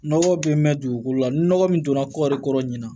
Nɔgɔ bɛ mɛn dugukolo la ni nɔgɔ min donna kɔɔri kɔrɔ ɲina